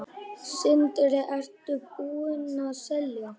Sindri: Ertu búinn að selja?